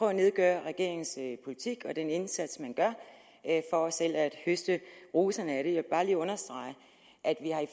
at nedgøre regeringens politik og den indsats vi gør for selv at høste roserne jeg vil bare lige understrege at vi